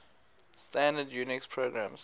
standard unix programs